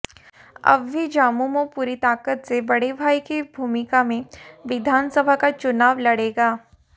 अब भी झामुमो पूरी ताकत से बड़े भाई की भूमिका में विधानसभा का चुनाव लड़ेगा